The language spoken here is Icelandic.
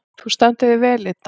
Þú stendur þig vel, Idda!